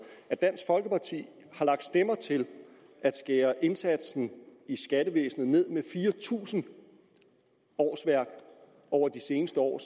at dansk folkeparti har lagt stemmer til at skære ned i indsatsen i skattevæsenet med fire tusind årsværk over de seneste år